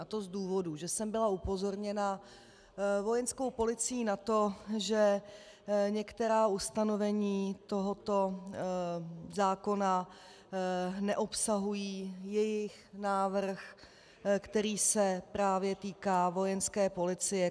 A to z důvodu, že jsem byla upozorněna Vojenskou policií na to, že některá ustanovení tohoto zákona neobsahují jejich návrh, který se právě týká Vojenské policie.